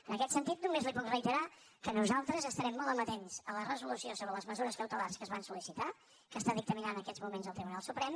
en aquest sentit només li puc reiterar que nosaltres estarem molt amatents a la resolució sobre les mesures cautelars que es van solnant en aquests moments el tribunal suprem